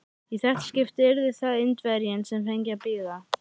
Í þetta skipti yrði það Indverjinn, sem fengi að bíða.